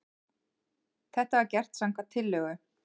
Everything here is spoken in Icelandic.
Þetta var gert samkvæmt tillögu